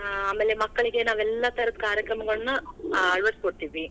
ಆ ಆಮೇಲೆ ಮಕ್ಳಿಗೆ ನಾವೆಲ್ಲಾ ತರದ ಕಾರ್ಯಕ್ರಮಗಳನ್ನಾ ಅಳವಡಿಸಿಕೊಡ್ತೀವಿ.